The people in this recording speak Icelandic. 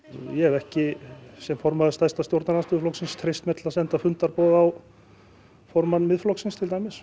ég hef ekki sem formaður stærsta stjórnarandstöðurflokksins treyst mér til þess að senda fundarboð á formanns Miðflokksins